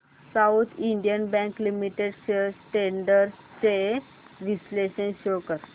south Indian bank limited shares trends चे विश्लेषण show कर